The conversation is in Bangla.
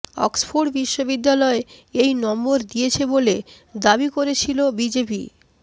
অক্সফোর্ড বিশ্ববিদ্যালয় এই নম্বর দিয়েছে বলে দাবি করেছিল বিজেপি